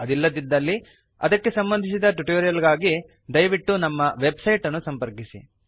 ಅದಿಲ್ಲವಾದಲ್ಲಿ ಅದಕ್ಕೆ ಸಂಬಂಧಿಸಿದ ಟ್ಯುಟೋರಿಯಲ್ ಗಳಿಗಾಗಿ ದಯವಿಟ್ಟು ನಮ್ಮ ವೆಬ್ ಸೈಟನ್ನು ಸಂಪರ್ಕಿಸಿ